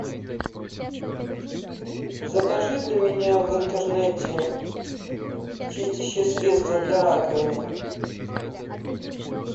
закажи для меня в интернете чистящее средство для раковины